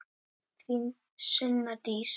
Þín Sunna Dís.